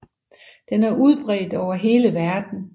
Den er udbredt over hele verden